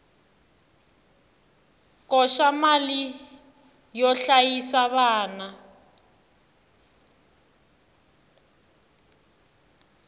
koxa mali yo hlayisa vana